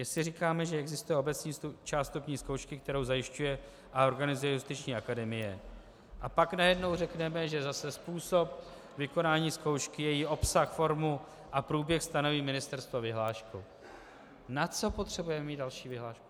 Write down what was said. Jestli říkáme, že existuje obecná část vstupní zkoušky, kterou zajišťuje a organizuje Justiční akademie, a pak najednou řekneme, že zase způsob vykonání zkoušky, její obsah, formu a průběh stanoví ministerstvo vyhláškou - na co potřebujeme mít další vyhlášku?